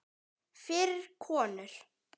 Fyrir konur.